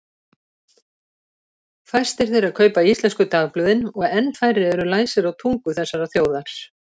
Fæstir þeirra kaupa íslensku dagblöðin og enn færri eru læsir á tungu þessarar þjóðar.